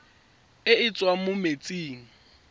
e e tswang mo metsing